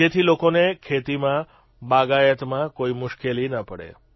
જેથી લોકોને ખેતીમાં બાગાયતમાં કોઇ મુશ્કેલી ન પડે